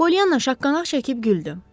Polyanna şaqqanaq çəkib güldü.